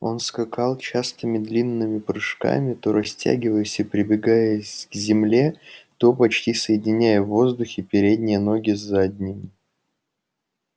он скакал частыми длинными прыжками то растягиваясь и пригибаясь к земле то почти соединяя на воздухе передние ноги с задними